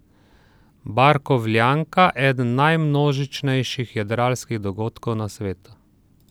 Barkovljanka, eden najmnožičnejših jadralskih dogodkov na svetu.